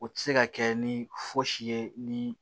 U tɛ se ka kɛ ni fosi ye ni